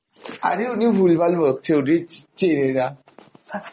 আরে উনি ভুলভাল বকছে, উনি চিনে না